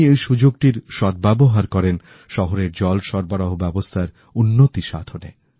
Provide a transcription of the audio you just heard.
তিনি এইসুযোগটির সদ্ব্যবহার করেন শহরের জল সরবরাহ ব্যবস্থার উন্নতি সাধনে